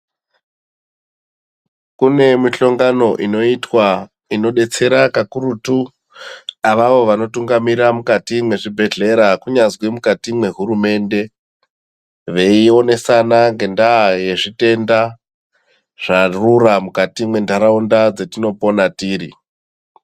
Kune mihlongano inoitwa inodetsera kakurutu avavo vanotungamira mukati mwezvibhedhlera kunyazwi mukati mwehurumende, veionesana ngendaa yezvitenda zvarura mukati mwentaraunda dzetinopona tiri.